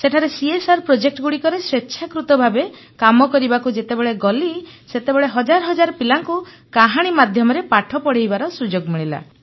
ସେଠାରେ ସିଏସଆର ପ୍ରକଳ୍ପ ଗୁଡ଼ିକରେ ସ୍ୱେଚ୍ଛାକୃତ ଭାବେ କାମ କରିବାକୁ ଯେତେବେଳେ ଗଲି ସେତେବେଳେ ହଜାର ହଜାର ପିଲାଙ୍କୁ କାହାଣୀ ମାଧ୍ୟମରେ ପାଠ ପଢ଼େଇବାର ସୁଯୋଗ ମିଳିଲା